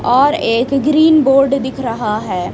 और एक green board दिख रहा हैं।